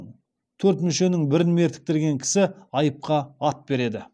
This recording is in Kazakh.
төрт мүшенің бірін мертіктірген кісі айыпқа ат береді